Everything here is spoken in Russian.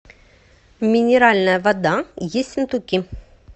минеральная вода ессентуки